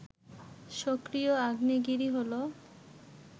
সক্রিয় আগ্নেয়গিরি হলো